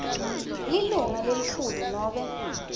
lilunga lelikhulu nobe